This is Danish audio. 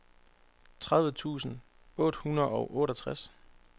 tredive tusind otte hundrede og otteogtres